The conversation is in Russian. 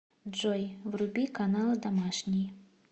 джой вруби каналы домашний